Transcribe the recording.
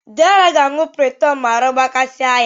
Deraa ga-aṅụ piriton mgbe ahụ gbakasị a ya.